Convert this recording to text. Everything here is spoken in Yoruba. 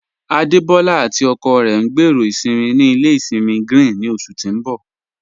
Adebọla àti ọkọ rẹ ń gbẹ́rọ́ isinmí ní ilẹ̀ isinmí Grín ni oṣù tí ń bọ̀.